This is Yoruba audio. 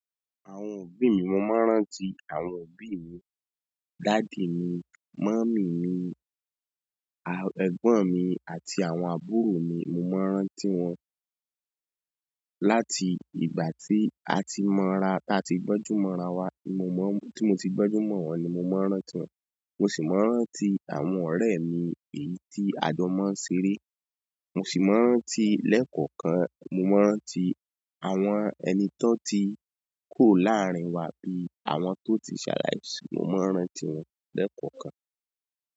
Àwọn òbí mi, mo máa ń rántí àwọn òbí mi, daddy mi, mummy mi, à, ẹ̀gbọ́n mi àti àwọn àbúrò mi. Mo máa ń rántí wọn láti ìgbà tí a ti mọ́ra, tí a ti gbọ́njú mọ́ra wa ni mo mọ́, tí mo ti gbọ́njú mọ́ wọn ni mo máa ń rántí wọn. Mo sì máa ń rántí àwọn ọ̀rẹ́ mi èyí tí àjọ máa ń ṣeré. Mo si maa n rántí lẹẹkọọkan. Mo máa ń rántí àwọn ẹni tó ti kuo láàárín wa bí i àwọn tó ti ṣaláìsí, mo máa ń rántí wọn lẹ́kọ̀ọ̀kan.